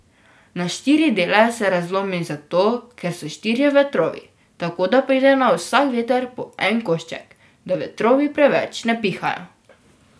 Na štiri dele se razlomi zato, ker so štirje vetrovi, tako da pride na vsak veter po en košček, da vetrovi preveč ne pihajo.